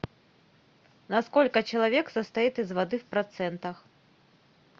на сколько человек состоит из воды в процентах